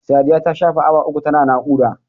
Sadiya ta shafe awa uku ta na naƙuda.